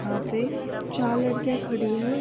यहां पे चार लड़किया खड़ी है।